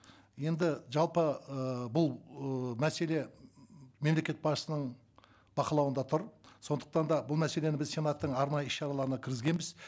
енді жалпы ыыы бұл ыыы мәселе мемлекет басшысының бақылауында тұр сондықтан да бұл мәселені біз сенаттың арнайы іс шараларына кіргізгенбіз